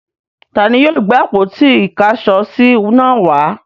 Ta ni yóò gbé àpótí-ìkáṣọsí náà wá?